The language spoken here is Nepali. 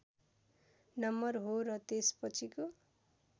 नम्बर हो र त्यसपछिको